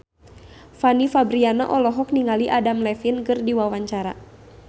Fanny Fabriana olohok ningali Adam Levine keur diwawancara